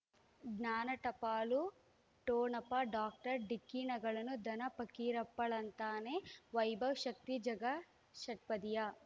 ಜ್ಞಾನ ಟಪಾಲು ಠೊಣಪ ಡಾಕ್ಟರ್ ಢಿಕ್ಕಿ ಣಗಳನು ಧನ ಫಕೀರಪ್ಪ ಳಂತಾನೆ ವೈಭವ್ ಶಕ್ತಿ ಝಗಾ ಷಟ್ಪದಿಯ